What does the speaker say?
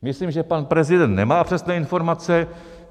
Myslím, že pan prezident nemá přesné informace.